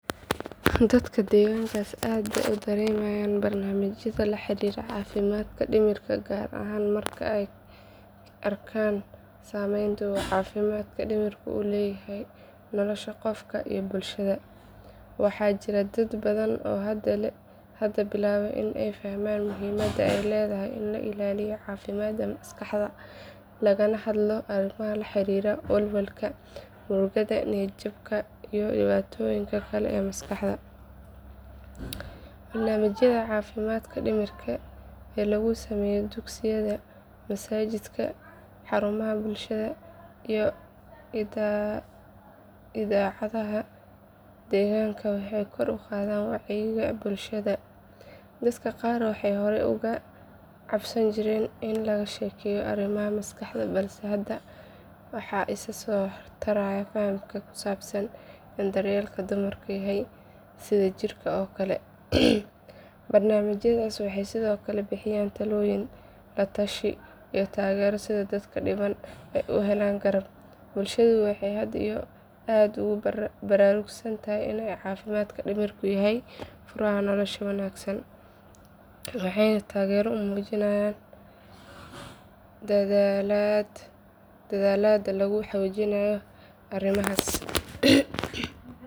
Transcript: Dadka deegaankaas aad bay u daneynayaan barnaamijyada la xiriira caafimaadka dhimirka gaar ahaan marka ay arkeen saameynta uu caafimaadka dhimirku ku leeyahay nolosha qofka iyo bulshada. Waxaa jira dad badan oo hadda bilaabay in ay fahmaan muhiimadda ay leedahay in la ilaaliyo caafimaadka maskaxda lagana hadlo arrimaha la xiriira walwalka, murugada, niyad jabka iyo dhibaatooyinka kale ee maskaxda. Barnaamijyada caafimaadka dhimirka ee laga sameeyo dugsiyada, masaajidda, xarumaha bulshada iyo idaacadaha deegaanka waxay kor u qaadeen wacyiga bulshada. Dadka qaar waxay hore uga cabsan jireen in laga sheekeeyo arrimaha maskaxda balse hadda waxaa isa soo taraya fahamka ku saabsan in daryeelka dhimirku yahay sida jirka oo kale. Barnaamijyadaasi waxay sidoo kale bixiyaan talooyin, la tashi iyo taageero si dadka dhibban ay u helaan garab. Bulshadu waxay hadda aad ugu baraarugsan tahay in caafimaadka dhimirku yahay furaha nolosha wanaagsan waxayna taageero u muujinayaan dadaallada lagu xoojinayo arrimahaas.